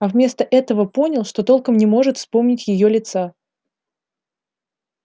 а вместо этого понял что толком не может вспомнить её лица